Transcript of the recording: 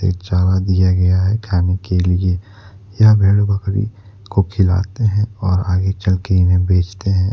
चारा दिया गया है खाने के लिए यहां भेड़ बकरी को खिलाते हैं और आगे चलके इन्हें बेचते हैं।